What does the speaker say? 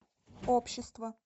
общество